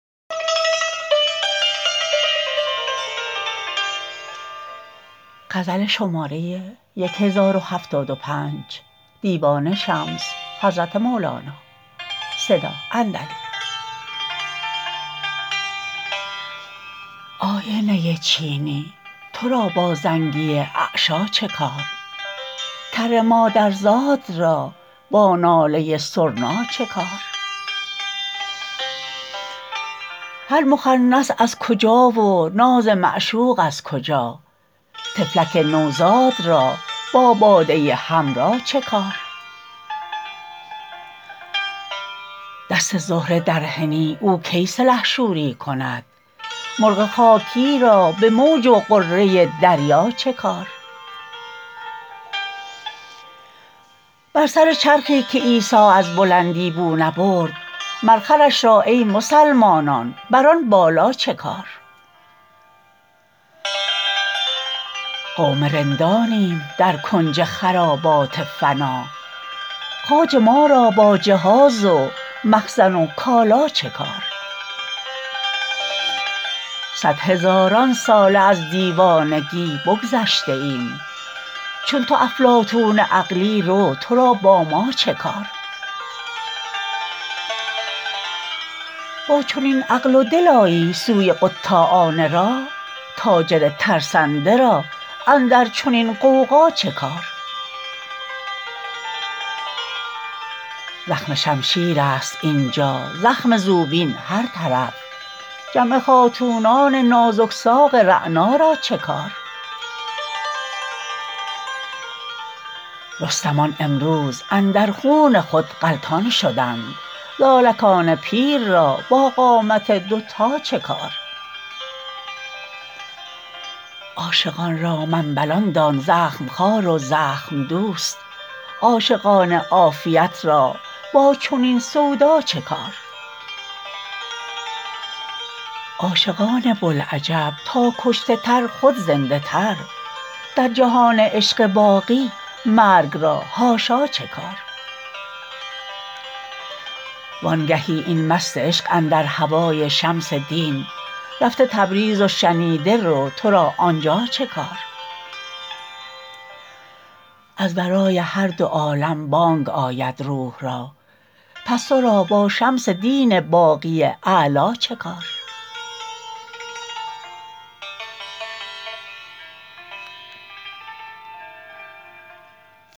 آینه ی چینی تو را با زنگی اعشیٰ چه کار کر مادرزاد را با ناله سرنا چه کار هر مخنث از کجا و ناز معشوق از کجا طفلک نوزاد را با باده حمرا چه کار دست زهره در حنا او کی سلحشوری کند مرغ خاکی را به موج و غره دریا چه کار بر سر چرخی که عیسی از بلندی بو نبرد مر خرش را ای مسلمانان بر آن بالا چه کار قوم رندانیم در کنج خرابات فنا خواجه ما را با جهاز و مخزن و کالا چه کار صد هزاران ساله از دیوانگی بگذشته ایم چون تو افلاطون عقلی رو تو را با ما چه کار با چنین عقل و دل آیی سوی قطاعان راه تاجر ترسنده را اندر چنین غوغا چه کار زخم شمشیر ست اینجا زخم زوبین هر طرف جمع خاتونان نازک ساق رعنا را چه کار رستمان امروز اندر خون خود غلطان شدند زالکان پیر را با قامت دوتا چه کار عاشقان را منبلان دان زخم خوار و زخم دوست عاشقان عافیت را با چنین سودا چه کار عاشقان بوالعجب تا کشته تر خود زنده تر در جهان عشق باقی مرگ را حاشا چه کار وانگهی این مست عشق اندر هوای شمس دین رفته تبریز و شنیده رو تو را آنجا چه کار از ورای هر دو عالم بانگ آید روح را پس تو را با شمس دین باقی اعلا چه کار